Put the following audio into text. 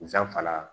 Zanfara